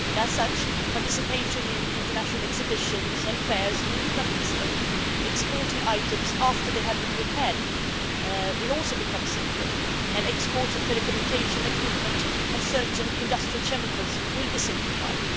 In this way, participation in international exhibitions and fairs will become easier. Exporting items after they have been repaired will also become simpler, and exports of telecommunications equipment and certain industrial chemicals will be simplified.